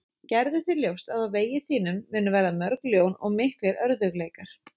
Gerðu þér ljóst að á vegi þínum munu verða mörg ljón og miklir örðugleikar.